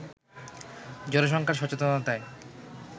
জনসংখ্যার সচেতনতায়